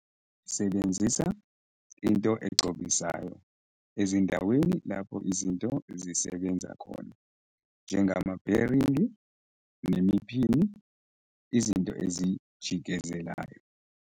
Sebenzisa into egcobisayo ezindaweni lapho izinto zisebenza khona njengambheringi nemiphini, izinto ezijikezelayo.